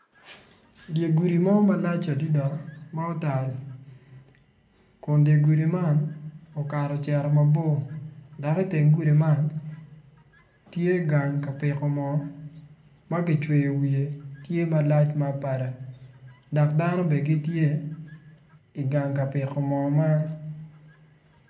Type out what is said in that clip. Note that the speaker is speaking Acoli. Dye gudi mo malac adida ma otal kun dye gudi man okato ocito mabor dak iteng gudi man tye gang ka piko moo ma gicweyo wiye tye malac ma abada dak dano be gitye i gang ka piko moo man